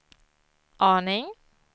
aning